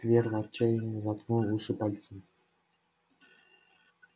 твер в отчаянии заткнул уши пальцами